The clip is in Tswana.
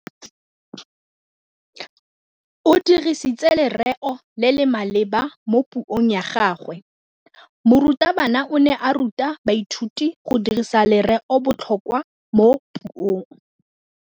O dirisitse lerêo le le maleba mo puông ya gagwe. Morutabana o ne a ruta baithuti go dirisa lêrêôbotlhôkwa mo puong.